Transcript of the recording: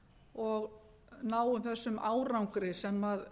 og náum þessi árangri sem